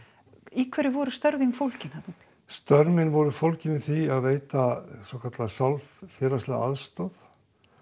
í hverju voru störf þín fólgin þarna úti störf mín voru fólgin í því að veita svokallaða sálfélagslega aðstoð